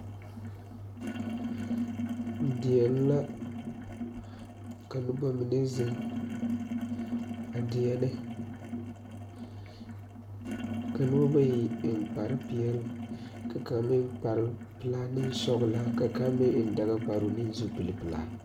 Deɛŋ la ka nobamine zeŋ a deɛnɛ ka noba bayi eŋ kparrepeɛle ka kaŋa meŋ kparrepelaa ne sɔglɔ ka kaŋa meŋ eŋ dagakparoo ne zupilepelaa.